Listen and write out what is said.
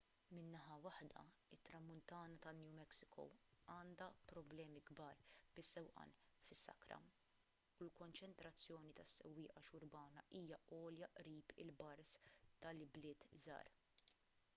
minn naħa waħda it-tramuntana ta' new mexico għandha problemi kbar bis-sewqan fis-sakra u l-konċentrazzjoni ta' sewwieqa xurbana hija għolja qrib il-bars tal-ibliet żgħar